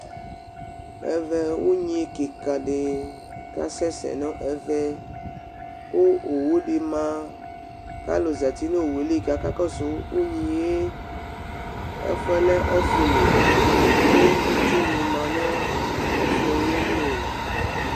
Ɛvɛ ʋnyɩ kɩka dɩ kasɛ sɛ nʋ ɛvɛ, kʋ owʋ dɩ ma, kʋ alʋ zǝtɩ nʋ owʋ yɛ li, kʋ aka kɔsʋ ʋnyɩ yɛ Ɛfʋ yɛ lɛ ɔfʋ li, kʋ itsu nɩ ma nʋ ɔfʋ yɛ li